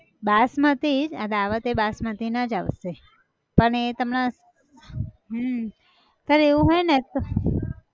બાસમતી જ આ dawat એ બાસમતી ના જ આવશે પન એ તમને, હમ તાર એવું હોય ને તો